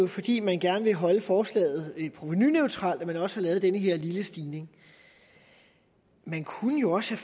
fordi man gerne vil holde forslaget provenuneutralt at man også har lavet den her lille stigning man kunne jo også